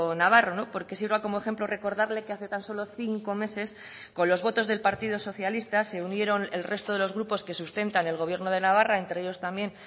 navarro porque sirva como ejemplo recordarle que hace tan solo cinco meses con los votos del partido socialista se unieron el resto de los grupos que sustentan el gobierno de navarra entre ellos también